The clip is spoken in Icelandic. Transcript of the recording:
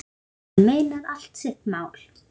Hann meinar allt sitt mál.